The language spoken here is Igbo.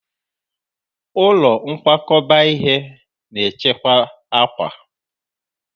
Ụlọ nkwakọba ihe na-echekwa akwa.